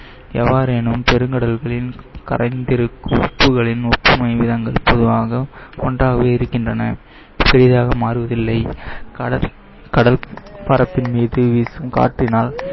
எவ்வாறேனும் பெருங்கடல்களில் கரைந்திருக்கும் உப்புகளின் பொதுவாக ஒன்றாகவே இருக்கின்றன பெரிதாக மாறுவதில்லை. கடல் கடல் பரப்பின் மீது வீசும் காற்றினால்